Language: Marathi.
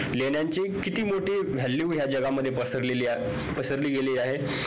लेण्याची किती मोठी value या जगामध्ये पसरलेली पसरली गेली आहे